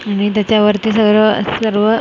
आणि त्याच्यावरती सर्व सर्व अ --